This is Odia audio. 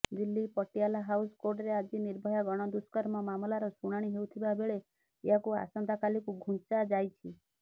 ଦିଲ୍ଲୀ ପଟିଆଲା ହାଉସ୍ କୋର୍ଟରେ ଆଜି ନିର୍ଭୟା ଗଣଦୁଷ୍କର୍ମ ମାମଲାର ଶୁଣାଣି ହେଉଥିବା ବେଳେ ଏହାକୁ ଆସନ୍ତାକାଲିକୁ ଘୁଞ୍ଚାଯାଇଛି